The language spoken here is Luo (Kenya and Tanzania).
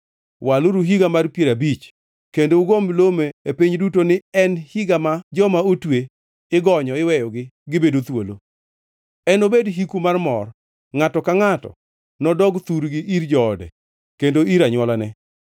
Waluru higa mar piero abich, kendo ugo milome e piny duto ni en higa ma joma otwe igonyo iweyogi gibedo thuolo. Enobed hiku mar mor; ngʼato ka ngʼato nodog thurgi ir joode kendo ir anywolane.